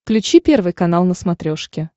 включи первый канал на смотрешке